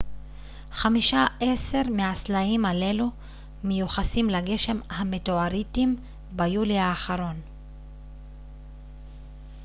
חמישה-עשר מהסלעים הללו מיוחסים לגשם המטאוריטים ביולי האחרון